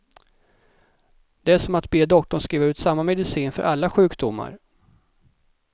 Det är som att be doktorn skriva ut samma medicin för alla sjukdomar.